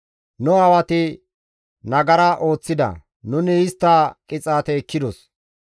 Nu aawati nagara ooththida; nuni istta qixaate ekkidos.